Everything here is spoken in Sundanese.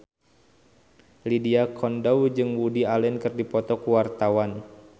Lydia Kandou jeung Woody Allen keur dipoto ku wartawan